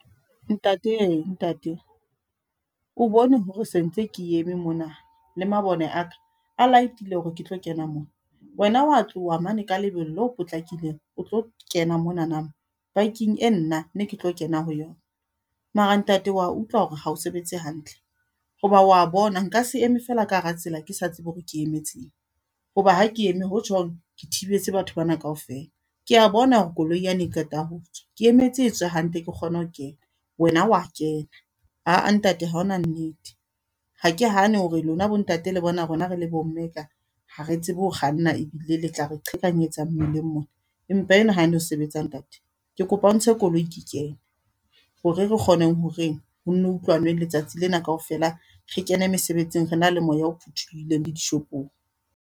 Ntate ye, ntate. O bone hore sentse ke eme mona. Le mabone a ka, a light-ile hore ke tlo kena mona. Wena wa tloha mane ka lebelo le potlakileng, o tlo kena monana. Parking e nna, ne ke tlo kena ho yona. Mara ntate wa utlwa hore hao sebetse hantle. Hoba wa bona nka se eme feela ka hara tsela, ke sa tsebe hore ke emetseng. Hoba ha ke eme ho tjhong, ke thibetse batho bana kaofela. Ke a bona hore koloi yane e qeta ho tswa, ke emetse etswe hantle ke kgone ho kena. Wena wa kena. Aa ntate haona nnete. Ha ke hane hore lona bontate le bona rona re le bo mme e ka, ha re tsebe ho kganna ebile le tla re qhekanyetsa mmileng mona. Empa eno ha no sebetsa ntate. Ke kopa o ntse koloi ke kene. Hore re kgone horeng, ho nno utlwanwe letsatsi lena kaofela. Re kene mesebetsing re na le moya o phuthulohileng le dishopong.